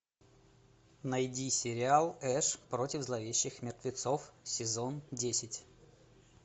найди сериал эш против зловещих мертвецов сезон десять